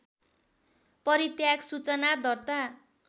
परित्याग सूचना दर्ता